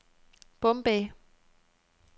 Bombay